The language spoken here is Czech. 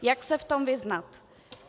Jak se v tom vyznat?